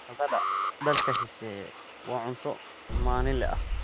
Baradhada dalka shisheeye waa cunto maalinle ah.